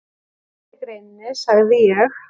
Síðar í greininni sagði ég